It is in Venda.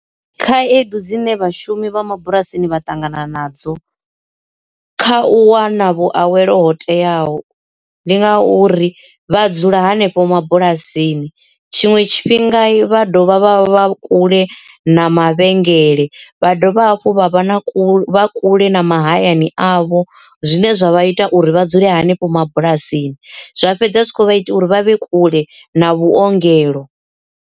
Khaedu dzine vhashumi vha mabulasini vha ṱangana nadzo kha u wana vhushavhelo ho teaho ndi ngauri vha dzula hanefho mabulasini tshiṅwe tshifhinga vha dovha vha vha kule na mavhengele vha dovha hafhu vha vha na kule kule na mahayani avho zwine zwa vha ita uri vha dzule hanefho mabulasini zwa fhedza zwi kho vha ita uri vha vhe kule na vhuongelo.